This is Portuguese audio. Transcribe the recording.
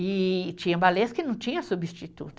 E tinha balés que não tinha substituto.